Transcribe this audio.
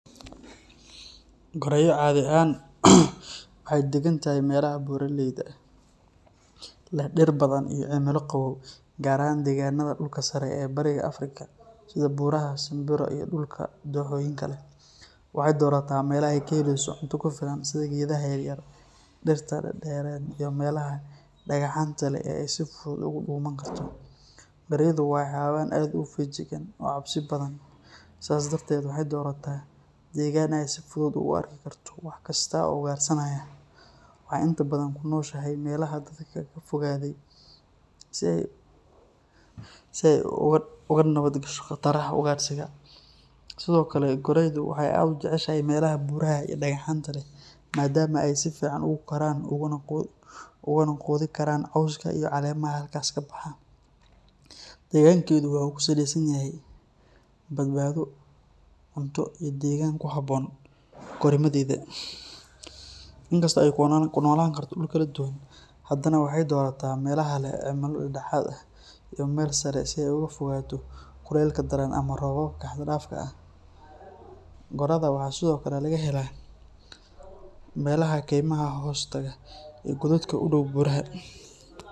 Gorayo cadi ahan waxay degantahay melaha buraleyda ah, leh diir badan iyo cimilo qawow, gaar ahan deganada dulka sare ee bariga africa, sidha buraha samburu iyo dulka doxoyinka leh waxay dorata melaha ay kaheleyso cunto kufilaan sidh ageedaha yaryar iyo diirta dareren iyo melaha dagahanta leh ee ay si fudu oguduma karto, gorayadu wa hawayan aad u fayajigaan oo cabsi badan sas darted waxayna si fudud u arkikarta waxkasta oo ugarsanayo, waxa inta badan kunoshahay melaha bananka dadka kafofadey, si ay ugu nawad gasho gataraha ugarsiga, Sidhokale goreyadu waxay aad ujecelahay melaha buraha iyo dagahanta leh madama ay si ficaan ogukoran oguna gudinkarana cooska iyo calemaha halka kabaha, degankenu wuxu kusaleysanyaha badbado cunto iyo degan kuhaboon karimadena, inkasto ay kunolaan karto duul kalduduwan hadana waxay dotata melaha leh cimilo dadahad eh iyo meel sare si ay ogafogato kulelka daraan ama robabka haaddafka ah, gorada waxa sidhokale lahagela melaha dekama hostaga iyo hododka udow beraha.